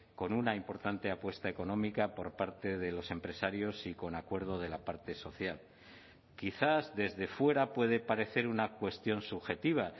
con una importante apuesta económica por parte de los empresarios y con acuerdo de la parte social quizás desde fuera puede parecer una cuestión subjetiva